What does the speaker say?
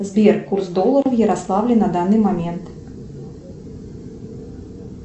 сбер курс доллара в ярославле на данный момент